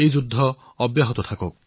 যুদ্ধ চলাই যাওক